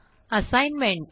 assignment